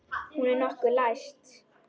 Hún er lokuð og læst.